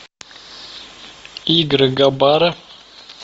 игры габара